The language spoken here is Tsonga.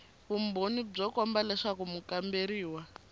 vumbhoni byo komba leswaku mukamberiwa